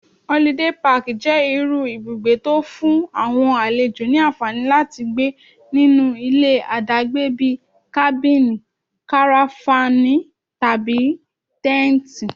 Holiday Park jẹ́ irú ibùgbé tó'fún àwọn àlejò ní ànfàní láti gbé nínú ilé àdágbé bíi Kábìnì, Karafánì, tàbí Tẹ́ǹtì.